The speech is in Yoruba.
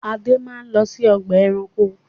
Ade máa lọ sí ọgbà-ẹranko!